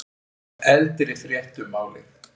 Eldri frétt um málið